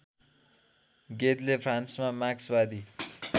गेदले फ्रान्समा मार्क्सवादी